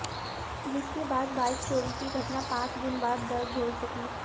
जिसके बाद बाइक चोरी की घटना पांच दिन बाद दर्ज हो सकी